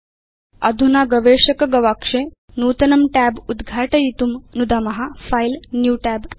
अधुना गवेषक गवाक्षे नूतनं tab उद्घाटयितुं नुदाम फिले न्यू Tab च